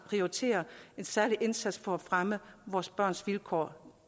prioriterer en særlig indsats for at fremme vores børns vilkår